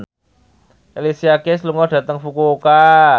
Alicia Keys lunga dhateng Fukuoka